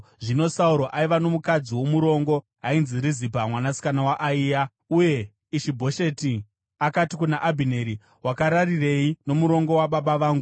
Zvino Sauro aiva nomukadzi womurongo ainzi Rizipa mwanasikana waAiya. Uye Ishi-Bhosheti akati kuna Abhineri, “Wakararirei nomurongo wababa vangu?”